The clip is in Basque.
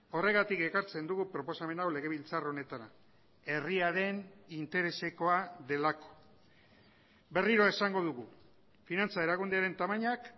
horregatik ekartzen dugu proposamen hau legebiltzar honetara herriaren interesekoa delako berriro esango dugu finantza erakunderen tamainak